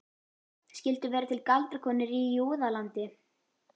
Skyldu vera til galdrakonur í Júðalandi?